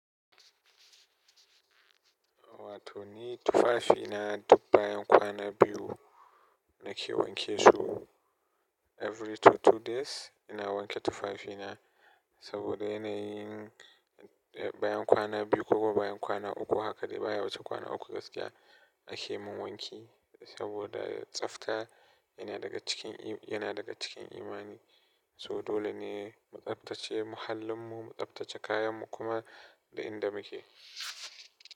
Wato ni tuafafina duk bayan kwana biyu nake wanke su every two two day's, ina wanke tufafi na saboda yana yin bayan kwana biyu koko bayan kwana uku haka dai haka dai baya wuce kwana uku gaskiya ake min wanki saboda tsafta yana daga cikin, yana daga cikin imani. So dole ne mu tsaftace muhallinmu, mu tsaftace kayanmu kuma da inda muke.